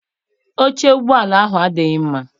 Oche ụgbọala ahụ adịghị mma.